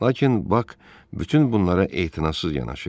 Lakin Bak bütün bunlara etinasız yanaşırdı.